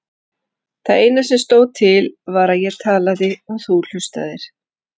Það eina sem stóð til var að ég talaði og þú hlustaðir.